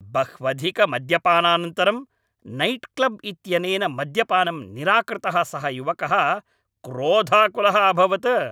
बह्वधिकमद्यपानानन्तरं nightclub इत्यनेन मद्यपानं निराकृतः सः युवकः क्रोधाकुलः अभवत्।